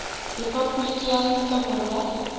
repaboliki ya aforika borwa ya